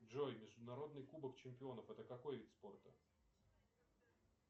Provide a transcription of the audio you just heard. джой международный кубок чемпионов это какой вид спорта